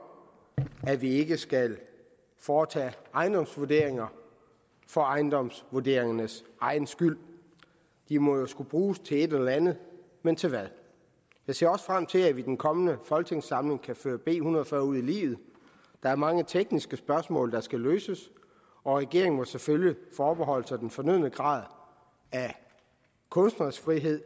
at vi ikke skal foretage ejendomsvurderinger for ejendomsvurderingernes egen skyld de må skulle bruges til et eller andet men til hvad jeg ser også frem til at vi i den kommende folketingssamling kan føre b en hundrede og fyrre ud i livet der er mange tekniske spørgsmål der skal løses og regeringen må selvfølgelig forbeholde sig den fornødne grad af kunstnerisk frihed